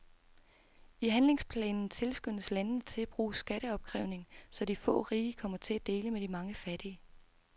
I handlingsplanen tilskyndes landene til at bruge skatteopkrævning, så de få rige kommer til at dele med de mange fattige.